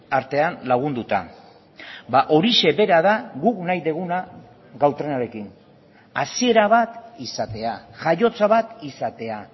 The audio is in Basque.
artean lagunduta horixe bera da guk nahi duguna gau trenarekin hasiera bat izatea jaiotza bat izatea